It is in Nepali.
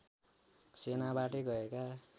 सेनाबाटै गएका